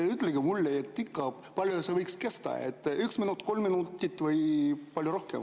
Ütelge mulle, kui palju see võiks kesta, kas üks minut, kolm minutit või palju rohkem.